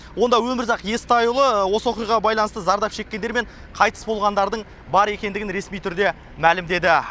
онда өмірзақ естайұлы осы оқиғаға байланысты зардап шеккендер мен қайтыс болғандардың бар екендігін ресми түрде мәлімдеді